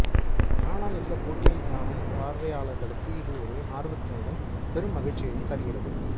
ஆனால் இந்தப் போட்டியைக் காணும் பார்வையாளர்களுக்கு இது ஒரு ஆர்வத்தினையும் பெரும் மகிழ்ச்சியையும் தருகிறது